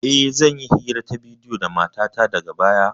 E, zan yi hira ta bidiyo da matata daga baya.